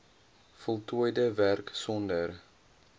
voltooide werk sonder